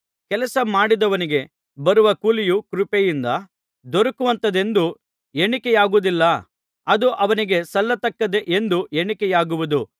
ಕೆಲಸ ಮಾಡಿದವನಿಗೆ ಬರುವ ಕೂಲಿಯು ಕೃಪೆಯಿಂದ ದೊರಕುವಂಥದೆಂದು ಎಣಿಕೆಯಾಗುವುದಿಲ್ಲ ಅದು ಅವನಿಗೆ ಸಲ್ಲತಕ್ಕದ್ದೇ ಎಂದು ಎಣಿಕೆಯಾಗುವುದು